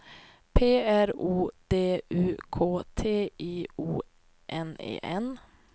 P R O D U K T I O N E N